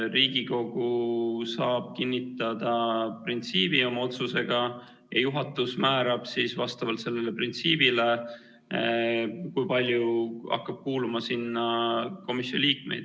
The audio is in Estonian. Riigikogu saab kinnitada printsiibi oma otsusega ja juhatus määrab siis vastavalt sellele printsiibile, kui palju komisjoni liikmeid hakkab sinna komisjoni kuuluma.